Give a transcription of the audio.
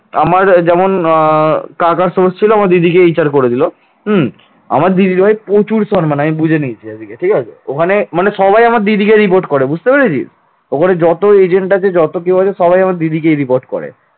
প্রচুর সম্মান আমি বুঝে নিয়েছি এদিকে, ঠিক আছে ওখানে সবাই আমার দিদিকে report করে বুঝতে পেরেছিস ওখানে যত agent আছে যত কেউ আছে সবাই আমার দিদিকে report করে